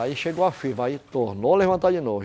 Aí chegou a firma, aí tornou levantar de novo.